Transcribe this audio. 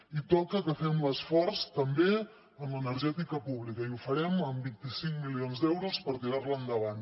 i toca que fem l’esforç també en l’energètica pública i ho farem amb vint cinc milions d’euros per tirarla endavant